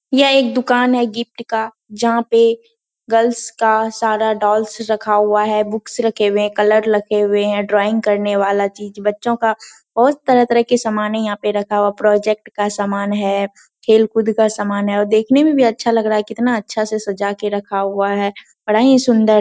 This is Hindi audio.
ये एक दुकान है गिफ्ट का जहां पे गर्ल्स का सारा डोलस रखा हुआ है बुक्स रखे हुए हैं। कलर रखे हुए हैं ड्रॉइंग करने वाली चीज बच्चों का बहुत तरह तरह के समाने यहाँ पे रखा हुआ है प्रोजेक्ट का सामान है खेल-कूद का सामान है और देखने में भी अच्छा लग रहा है कितना अच्छा से सजा के रखा हुआ है बड़ा ही सुंदर --